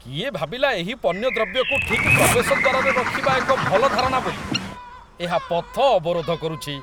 କିଏ ଭାବିଲା ଏହି ପଣ୍ୟଦ୍ରବ୍ୟକୁ ଠିକ୍ ପ୍ରବେଶ ଦ୍ୱାରରେ ରଖିବା ଏକ ଭଲ ଧାରଣା ବୋଲି? ଏହା ପଥ ଅବରୋଧ କରୁଛି।